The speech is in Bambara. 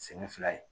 Segu fila ye